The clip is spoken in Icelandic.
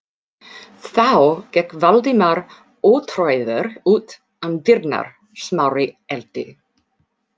Þá gekk Valdimar ótrauður út um dyrnar, Smári elti.